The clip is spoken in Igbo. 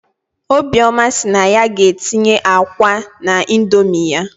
Obioma sị na ya ga- etinye àkwá n'Indomi ya